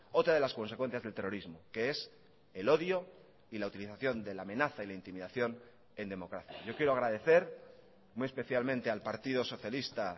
otra de las consecuencias del terrorismo que es el odio y la utilización de la amenaza y la intimidación en democracia yo quiero agradecer muy especialmente al partido socialista